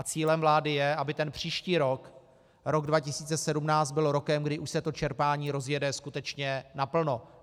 A cílem vlády je, aby ten příští rok, rok 2017, byl rokem, kdy už se to čerpání rozjede skutečně naplno.